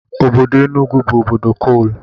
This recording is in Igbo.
Obodo Enugu bụ obodo kol